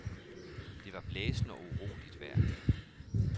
Det var blæsende og uroligt vejr.